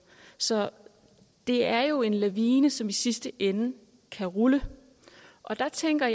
så det er jo en lavine som i sidste ende kan rulle jeg tænker